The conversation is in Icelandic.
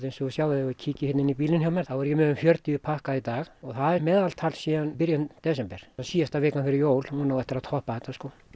ef þið kíkið inn í bílinn hjá mér þá er ég með um fjörutíu pakka í dag það er svona meðaltal síðan í byrjun desember síðasta vikan fyrir jól á eftir að toppa þetta